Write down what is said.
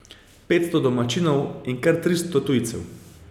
Petsto domačinov in kar tristo tujcev.